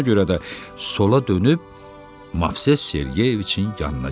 Buna görə də sola dönüb Mavses Sergeviçin yanına getdi.